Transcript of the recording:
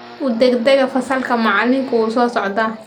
U degdega fasalka, macalinku waa soo socdaa